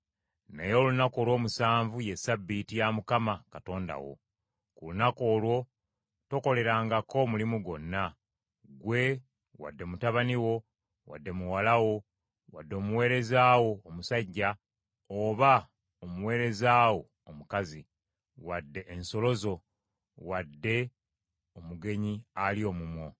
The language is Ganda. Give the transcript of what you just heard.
naye olunaku olw’omusanvu ye Ssabbiiti ya Mukama Katonda wo. Ku lunaku olwo tokolerangako mulimu gwonna; ggwe, wadde mutabani wo, wadde muwala wo, wadde omuweereza wo omusajja, oba omuweereza wo omukazi, wadde ensolo zo, wadde omugenyi ali omumwo.